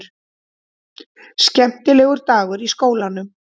Skemmtilegur dagur í skólanum!